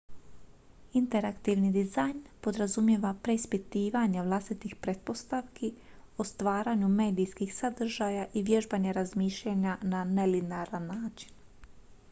interaktivni dizajn podrazumijeva preispitivanje vlastitih pretpostavki o stvaranju medijskih sadržaja i vježbanje razmišljanja na nelinearan način